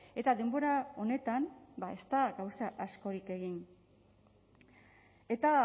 eta denbora honetan ez da gauza askorik egin eta